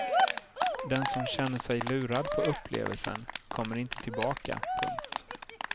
Den som känner sig lurad på upplevelsen kommer inte tillbaka. punkt